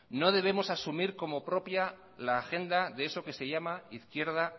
no debemos asumir como propia la agenda de eso que se llama izquierda